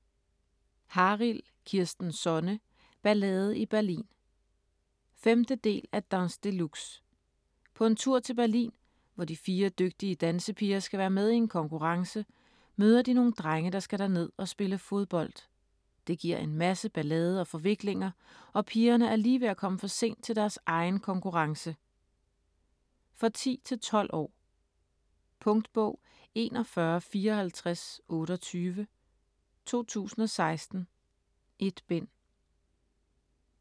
Harild, Kirsten Sonne: Ballade i Berlin 5. del af Dans de luxe. På en tur til Berlin, hvor de fire dygtige dansepiger skal være med i en konkurrence, møder de nogle drenge, der skal derned og spille fodbold. Det giver en masse ballade og forviklinger, og pigerne er lige ved at komme for sent til deres egen konkurrence. For 10-12 år. Punktbog 415428 2016. 1 bind.